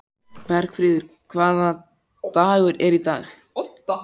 Bergfríður, hvaða dagur er í dag?